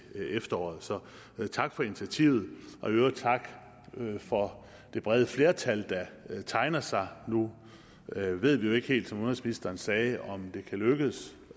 efteråret så tak for initiativet i øvrigt tak for det brede flertal der tegner sig nu ved vi jo ikke helt som udenrigsministeren sagde om det kan lykkes